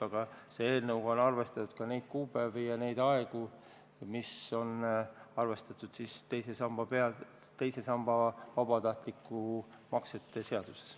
Aga see eelnõu on arvestanud ka neid kuupäevi ja neid aegu, mis on kirjas teise samba vabatahtlike maksete seaduses.